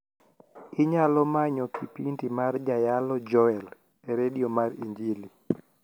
inyalo manyo kipindi mar jayalo joel e redio mar injili